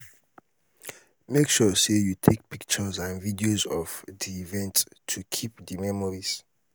make sure say you take pictures and videos of the event to um keep the um memories